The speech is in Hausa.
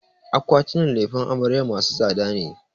Akwatinan lefen amaryar masu tsada ne.